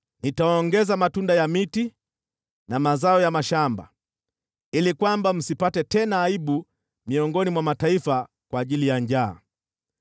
Nitaongeza matunda ya miti na mazao ya mashamba, ili kwamba msipate tena aibu miongoni mwa mataifa kwa ajili ya njaa.